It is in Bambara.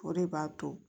O de b'a to